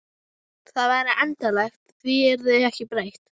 Það væri endanlegt, því yrði ekki breytt.